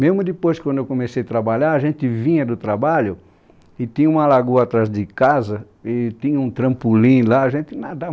Mesmo depois, quando eu comecei a trabalhar, a gente vinha do trabalho e tinha uma lagoa atrás de casa e tinha um trampolim lá, a gente nadava.